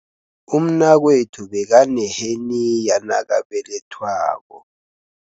Umnakwethu bekaneheniya nakabelethwako.